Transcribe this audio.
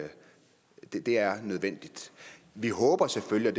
det det er nødvendigt vi håber selvfølgelig